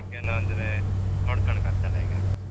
ಬಗ್ಗೆನೂ ಅಂದ್ರೆ ನೋಡ್ಕಣ್ಕಾತಲ್ಲ ಈಗ.